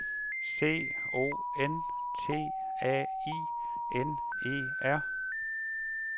C O N T A I N E R